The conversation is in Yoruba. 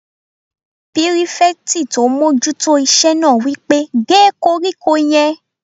Pírífẹ̀tì tó n mójú tó iṣẹ́ náà wí pé "gé koríko yẹn!"